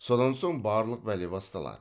содан соң барлық бәле басталады